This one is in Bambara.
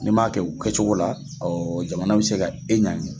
N'i m'a kɛ o kɛ cogo la jamana bi se ka e ɲɛgin.